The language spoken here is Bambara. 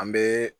An bɛ